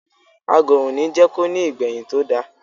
Agọ̀ òní jẹ́ ko ní ìgbẹ̀yìn tó da.